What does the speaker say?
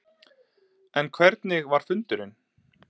En hvernig var fundurinn?